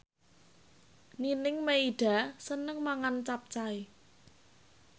Nining Meida seneng mangan capcay